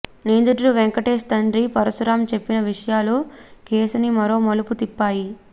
నిందితుడు వెంకటేశ్ తండ్రి పరశురామ్ చెప్పిన విషయాలు కేసుని మరో మలుపు తిప్పాయి